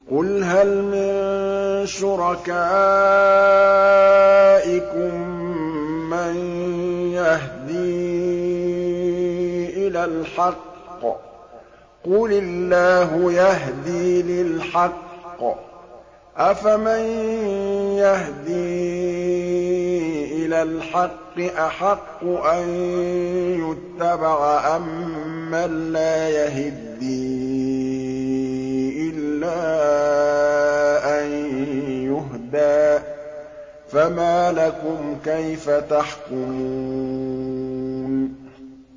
قُلْ هَلْ مِن شُرَكَائِكُم مَّن يَهْدِي إِلَى الْحَقِّ ۚ قُلِ اللَّهُ يَهْدِي لِلْحَقِّ ۗ أَفَمَن يَهْدِي إِلَى الْحَقِّ أَحَقُّ أَن يُتَّبَعَ أَمَّن لَّا يَهِدِّي إِلَّا أَن يُهْدَىٰ ۖ فَمَا لَكُمْ كَيْفَ تَحْكُمُونَ